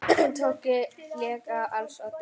Tóti lék á als oddi.